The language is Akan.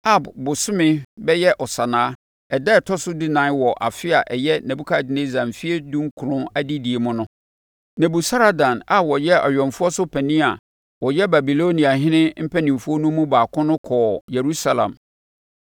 Ab bosome (bɛyɛ Ɔsannaa) ɛda a ɛtɔ so dunan wɔ afe a ɛyɛ Nebukadnessar mfeɛ dunkron adedie mu no, Nebusaradan a ɔyɛ awɛmfoɔ so panin a ɔyɛ Babiloniahene mpanimfoɔ nu mu baako no kɔɔ Yerusalem.